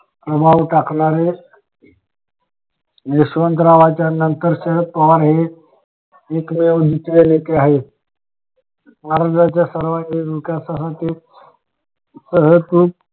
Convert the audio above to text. प्रभाव टाकला रे यशवंतरावांच्या नंतर शरद पवार हे एकमेव नेते आहेत महाराष्ट्रच्या सर्विंगिक विकासाठी सहज खूप